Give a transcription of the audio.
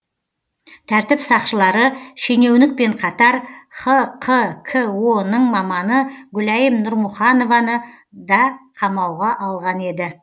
тәртіп сақшылары шенеунікпен қатар хқко ның маманы гүлайым нұрмұханованы да қамауға алған еді